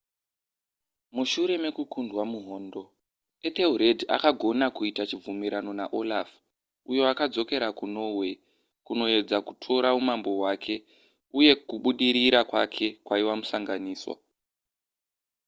mushure mekukundwa muhondo ethelred akagona kuita chibvumirano naolaf uyo akadzokera kunorway kunoedza kutora umambo hwake uye kubudirira kwake kwaiva musanganiswa